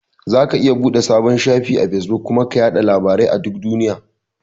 Zaka iya buɗe sabon shafi a Fesbuk kuma ka yaɗa labarai a duk duniya.